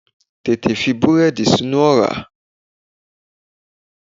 Tètè fi búrẹ́dì sínú ọ̀rá!